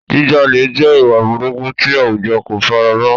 Jíjalè jẹ́ ìwà burúkú tí àwùjọ kò fara mọ́.